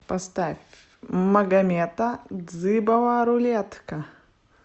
поставь магамета дзыбова рулетка